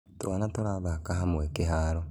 Twana tũrathaka hamwe kĩharo